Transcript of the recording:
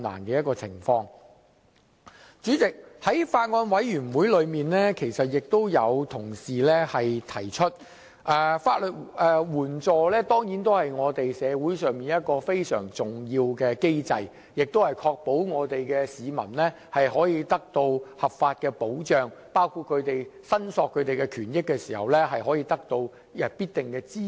主席，在小組委員會上，有委員指出，法援制度是社會上一個非常重要的機制，旨在確保市民的合法權益得到保障，在申索權益時得到必要的支援。